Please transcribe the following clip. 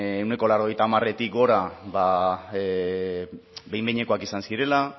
ehuneko laurogeita hamaretik gora behin behinekoak izan zirela